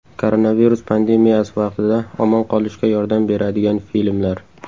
Koronavirus pandemiyasi vaqtida omon qolishga yordam beradigan filmlar.